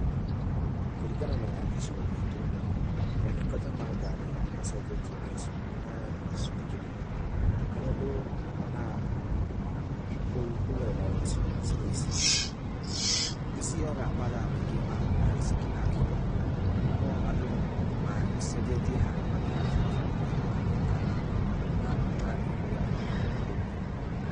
Kũringana na gĩcigo giitu, motungata ma ngari nĩ macenjetie na gĩcunjĩ kĩnene, harĩa andũ monaga, kũgerera icigo ici nĩ cionyaga mathaa maingĩ ma ngari cingĩgakinya, no andũ macenjetie haria mathiaga barabara-inĩ na kũrũgamia ngari magathie kũrĩa mareda gũthiĩ.